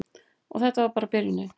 Og þetta var bara byrjunin.